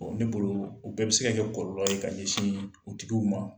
Ne bolo o bɛɛ bi se ka kɛ kɔlɔlɔ ye ka ɲɛsin u tigiw ma.